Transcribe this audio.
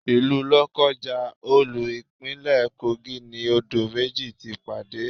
Ilu Lokaja, olú Ìpínlẹ̀ Kogi ni odò méjì ti pàdé.